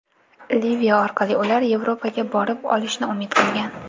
Liviya orqali ular Yevropaga borib olishga umid qilgan.